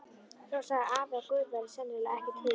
Svo sagði afi að Guð væri sennilega ekki til.